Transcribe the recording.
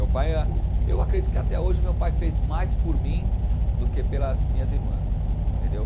Meu pai é Eu acredito que até hoje meu pai fez mais por mim do que pelas minhas irmãs, entendeu?